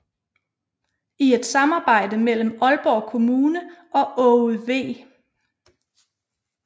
I et samarbejde mellem Aalborg Kommune og Aage V